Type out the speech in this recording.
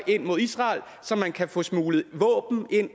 ind mod israel så man kan få smuglet våben